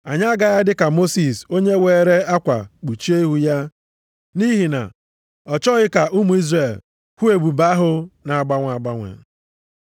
Anyị agaghị adị ka Mosis onye weere akwa kpuchie ihu ya, nʼihi na ọ chọghị ka ụmụ Izrel hụ ebube ahụ na-agbanwe agbanwe.